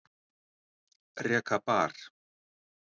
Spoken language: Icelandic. Reka bar